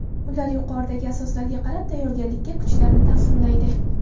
Ular yuqoridagi asoslarga qarab tayyorgarlikka kuchlarini taqsimlaydi.